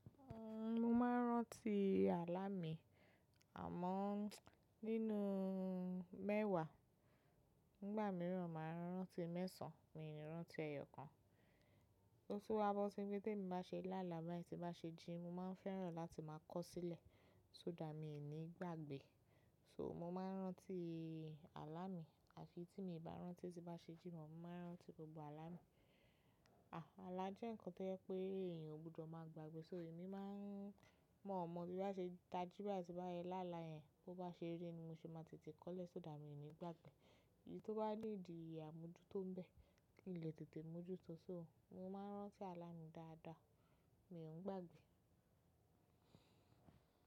Mo máa ń rántí àlá mi, àmọ́ nínú mẹ́wàá. Nígbà mìíràn, màá rántí mẹ́sàn-án, mi ò ní rántí ẹyọ kan. Ó tún wá bọ́ si pé tí mo bá ṣe láala, bá ti bá ṣe jín, mo máa ń fẹ́ràn láti máa kọ̀ sílẹ̀, só dà mí ì ní gbàgbé. So mo máa ń rántí àlá mi, à fi tí mi ò bá rántí tí bá ṣe jín, mo máa ń rántí gbogbo àlá mi. Àlá jẹ́ nǹkan tó yẹ pé èèyàn ò gbúdọ̀ máa gbàgbé, so èmi máa ń mọ̀ọ́mọ̀ tí bá ṣe tají bá ti bá yẹ láala yẹn, bó bá ṣe rí ni mo ṣe máa tètè kọ́lẹ̀, só that mi ò ní gbàgbé. Èyí tó bá lè di àmójútó ń bẹ, kì í lè tètè mójú tó. Mo máa ń rántí àlá mi dáadáa, mi ò ń gbàgbé.